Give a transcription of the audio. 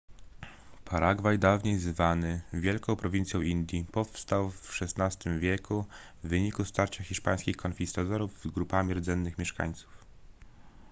paragwaj dawniej zwany wielką prowincją indii powstał w xvi wieku w wyniku starcia hiszpańskich konkwistadorów z grupami rdzennych mieszkańców